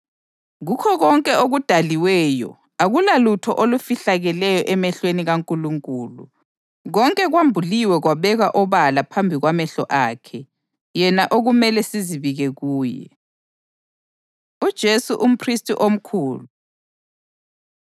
Kukho konke okudaliweyo akulalutho olufihlakeleyo emehlweni kaNkulunkulu. Konke kwambuliwe kwabekwa obala phambi kwamehlo akhe yena okumele sizibike kuye. UJesu UmPhristi Omkhulu